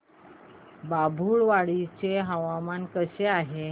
बाभुळवाडी चे हवामान कसे आहे